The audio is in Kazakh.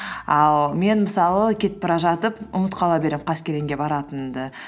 ал мен мысалы кетіп бара жатып ұмытып қала беремін қаскелеңге баратынымды